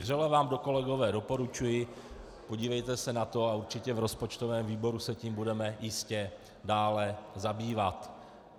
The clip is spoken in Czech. Vřele vám to kolegové doporučuji, podívejte se na to a určitě v rozpočtovém výboru se tím budeme jistě dále zabývat.